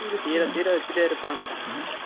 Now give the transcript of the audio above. தீர தீர வச்சிட்டே இருப்பாங்க